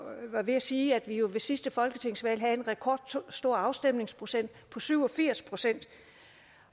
ved at sige at vi ved sidste folketingsvalg havde en rekordstor afstemningsprocent på syv og firs procent